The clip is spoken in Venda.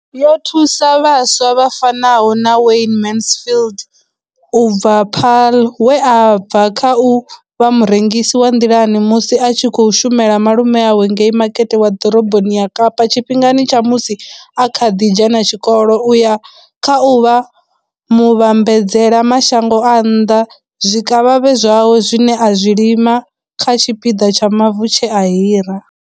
Yo thusa vhaswa vha fanaho na Wayne Mansfield u bva Paarl, we a bva kha u vha murengisi wa nḓilani musi a tshi khou shumela malume awe ngei Makete wa Ḓoroboni ya Kapa tshifhingani tsha musi a kha ḓi dzhena tshikolo u ya kha u vha muvhambadzela mashango a nnḓa zwikavhavhe zwawe zwine a zwi lima kha tshipiḓa tsha mavu tshe a hira.